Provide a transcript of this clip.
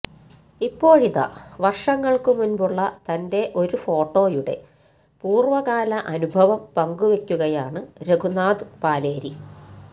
ഇപ്പോഴിതാ വര്ഷങ്ങള്ക്ക് മുന്പുള്ള തന്റെ ഒരു ഫോട്ടോയുടെ പൂര്വ്വകാല അനുഭവം പങ്കുവയ്ക്കുകയാണ് രഘുനാഥ് പലേരി